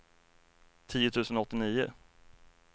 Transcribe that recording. tio tusen åttionio